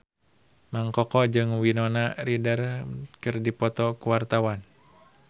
Mang Koko jeung Winona Ryder keur dipoto ku wartawan